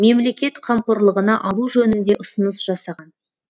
мемлекет қамқорлығына алу жөнінде ұсыныс жасаған